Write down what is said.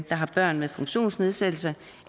har børn med funktionsnedsættelse